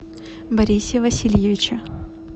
борисе васильевиче